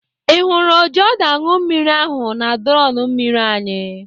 Ị hụrụ ojiọdụanụmmiri ahụ na drọn mmiri anyị?